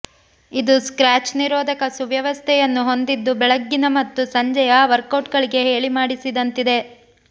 ಇದು ಸ್ಕ್ರಾಚ್ ನಿರೋಧಕ ವ್ಯವಸ್ಥೆಯನ್ನು ಹೊಂದಿದ್ದು ಬೆಳಗ್ಗಿನ ಮತ್ತು ಸಂಜೆಯ ವರ್ಕ್ಔಟ್ಗಳಿಗೆ ಹೇಳಿ ಮಾಡಿಸಿದಂತಿದೆ